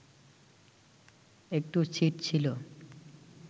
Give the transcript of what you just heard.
একটু ছিট ছিল